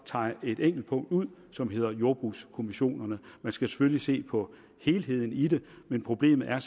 tager et enkelt punkt ud som hedder jordbrugskommissionerne man skal selvfølgelig se på helheden men problemet er